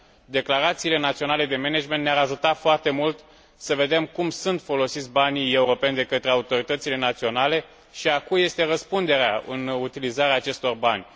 Declarațiile naționale de management ne ar ajuta foarte mult să vedem cum sunt folosiți banii europeni de către autoritățile naționale și a cui este răspunderea în utilizarea acestor bani.